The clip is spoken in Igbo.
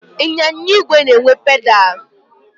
Ịnyịnya igwe na-enwe pedalụ.